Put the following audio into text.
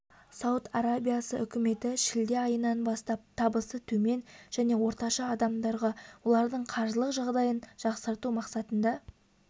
сауд арабиясы үкіметі шілде айынан бастап табысы төмен және орташа адамдарға олардың қаржылық жағдайын жақсарту мақсатында